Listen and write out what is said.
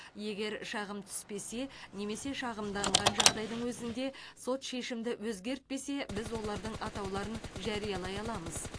егер шағым түспесе немесе шағымданған жағдайдың өзінде сот шешімді өзгертпесе біз олардың атауларын жариялай аламыз